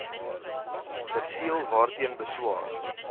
perseel waarteen beswaar